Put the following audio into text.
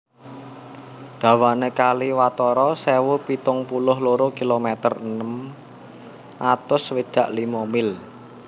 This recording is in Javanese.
Dawané kali watara sewu pitung puluh loro kilometer enem atus swidak limo mil